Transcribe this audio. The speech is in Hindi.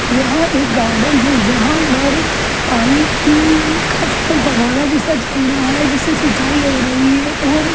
यहां एक गार्डन है यहां पर पानी उम का फव्वारा जैसा चल रहा है जिससे सिंचाई हो रही है और --